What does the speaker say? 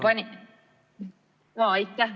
Aitäh!